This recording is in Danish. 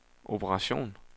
operation